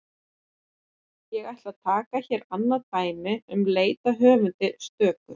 Ég ætla að taka hér annað dæmi um leit að höfundi stöku.